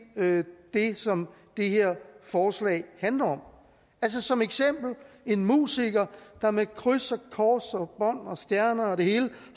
det som det her forslag handler om altså som eksempel en musiker der med kryds og kors og bånd og stjerner og det hele